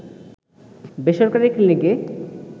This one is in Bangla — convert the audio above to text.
বেসরকারি ক্লিনিকে